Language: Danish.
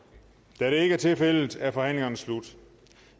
da det ikke er tilfældet er forhandlingen slut